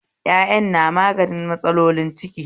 Yaƴan na magani matsalolin ciki